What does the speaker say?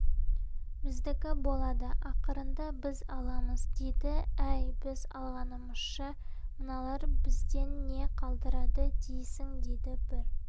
біздікі болады ақырында біз аламыз дейді әй біз алғанымызша мыналар бізден не қалдырады дейсің дейді бір